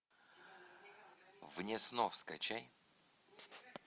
вне снов скачай